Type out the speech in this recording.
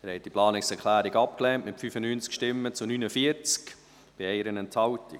Sie haben die Planungserklärung 1 abgelehnt, mit 95 Nein- gegen 49 Ja-Stimmen bei 1 Enthaltung.